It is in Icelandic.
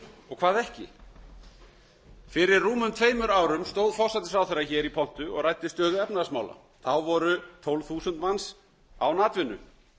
og hvað ekki fyrir rúmum tveimur árum stóð forsætisráðherra hér í pontu og ræddi stöðu efnahagsmála þá voru tólf þúsund manns án atvinnu og